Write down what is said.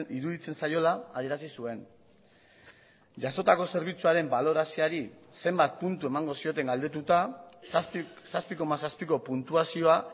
iruditzen zaiola adierazi zuen jasotako zerbitzuaren balorazioari zenbat puntu emango zioten galdetuta zazpi koma zazpiko puntuazioa